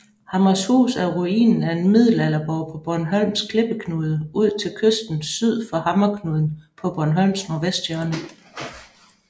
Hammershus er ruinen af en middelalderborg på Bornholms klippeknude ud til kysten syd for Hammerknuden på Bornholms nordvesthjørne